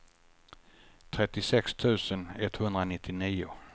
trettiosex tusen etthundranittionio